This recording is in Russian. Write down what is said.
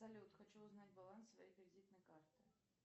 салют хочу узнать баланс своей кредитной карты